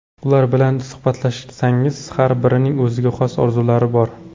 Ular bilan suhbatlashsangiz, har birining o‘ziga xos orzulari bor.